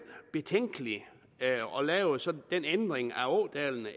betænkeligt at lave sådan en ændring af ådalene